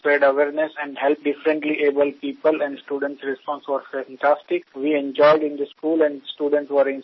বিশেষ ক্ষমতা সম্পন্ন মানুষের মধ্যে সচেতনা বৃদ্ধি এবং তাঁদের কীভাবে সাহায্য করা যায় সেই বিষয়ে আমি প্রায় দুহাজার ছাত্রের সামনে বক্তব্য রেখেছি